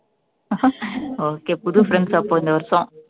okay புது friends அப்போ இந்த வருஷம்